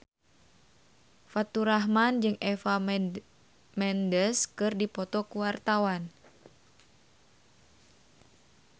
Faturrahman jeung Eva Mendes keur dipoto ku wartawan